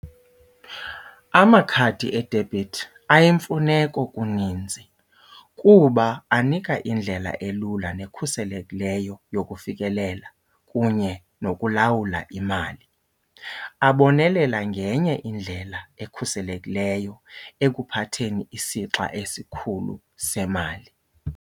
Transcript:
Amakhadi idebhithi ayimfuneko kuninzi kuba anika indlela elula nekhuselekileyo yokufikelela kunye nokulawula imali. Abonelela ngenye indlela ekhuselekileyo ekuphatheni isixa esikhulu semali.